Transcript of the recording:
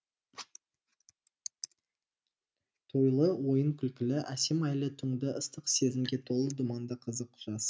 тойлы ойын күлкілі әсем айлы түңді ыстық сезімге толы думанды қызық жаз